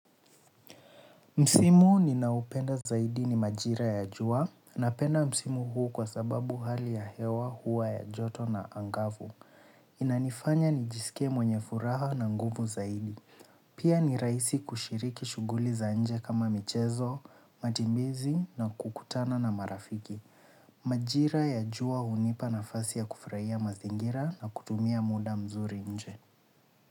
Msimu ninaopenda zaidi ni majira ya jua, napenda msimu huu kwa sababu hali ya hewa hua ya joto na angavu. Inanifanya nijisikie mwenye furaha na nguvu zaidi. Pia ni rahisi kushiriki shughuli za nje kama michezo matembezi na kukutana na marafiki. Majira ya jua hunipa nafasi ya kufurahia mazingira na kutumia muda mzuri nje.